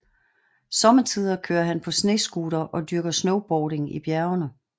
Sommetider kører han på snescooter og dyrker snowboarding i bjergene